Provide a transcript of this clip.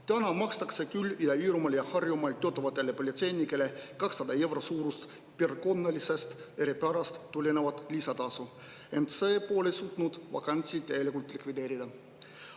Täna makstakse küll Ida-Virumaal ja Harjumaal töötavatele politseinikele 200 euro suurust piirkonna eripärast tulenevat lisatasu, ent see pole suutnud vakantsi täielikult likvideerida.